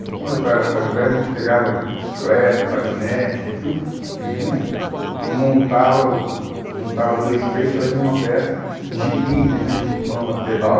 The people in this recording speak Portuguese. Então, como meu pai era ferro velho, a gente pegava bicicleta, patinete, tudo que que vinha, a gente montava o, juntava dois, três, fazia uma peça, jipinho, tinha aquele jipão a pedal.